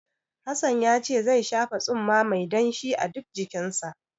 Hassan yace zai shafa tsumma mai danshi a duk jikinsa.